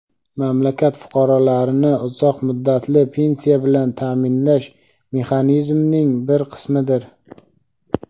mamlakat fuqarolarini uzoq muddatli pensiya bilan ta’minlash mexanizmining bir qismidir.